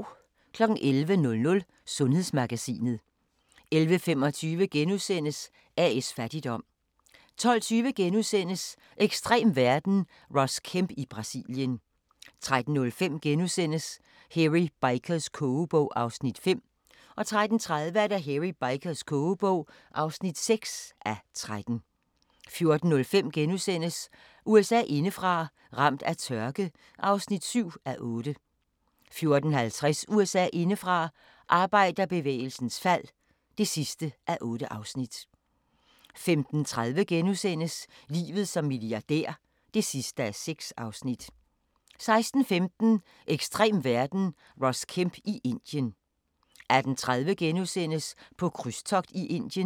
11:00: Sundhedsmagasinet 11:25: A/S Fattigdom * 12:20: Ekstrem verden – Ross Kemp i Brasilien * 13:05: Hairy Bikers kogebog (5:13)* 13:35: Hairy Bikers kogebog (6:13) 14:05: USA indefra: Ramt af tørke (7:8)* 14:50: USA indefra: Arbejderbevægelsens fald (8:8) 15:30: Livet som milliardær (6:6)* 16:15: Ekstrem verden – Ross Kemp i Indien 18:30: På krydstogt i Indien *